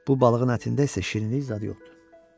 Bu balığın ətində isə şirinlik zad yoxdur.